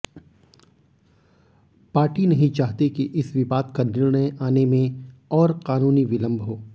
party नहीं चाहती कि इस विवाद का निर्णय आने में और कानूनी विलंब हो